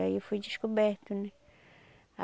Aí eu fui descoberta, né?